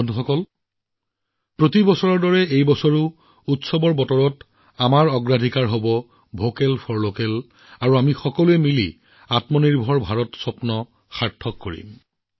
বন্ধুসকল প্ৰতিবাৰৰ দৰে এইবাৰো আমাৰ উৎসৱত আমাৰ অগ্ৰাধিকাৰ ভোকেল ফৰ লোকেল হোৱা উচিত আৰু আহক আমি সকলোৱে মিলি সেই সপোন পূৰণ কৰোঁ আমাৰ সপোন হৈছে এখন আত্মনিৰ্ভৰ ভাৰত গঢ়ি তোলা